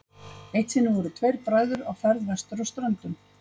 Eitt sinn voru tveir bræður á ferð vestur á Ströndum.